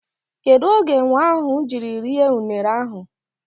Kedụ oge enwe ahụ jiri rie unere ahụ?